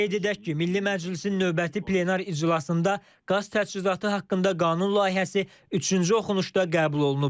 Qeyd edək ki, Milli Məclisin növbəti plenar iclasında qaz təchizatı haqqında qanun layihəsi üçüncü oxunuşda qəbul olunub.